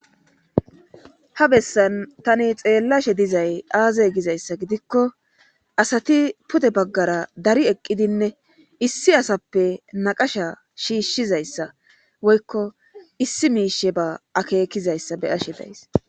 ha bessan tani xeellashe dizay aaza gizayssa gidikko asati pude baggara dari eqqidinne issi asappe naqasha shiishshizayssa woykko issi miishe ba akeekizayssa be ashe days